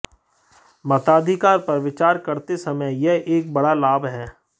मताधिकार पर विचार करते समय यह एक बड़ा लाभ है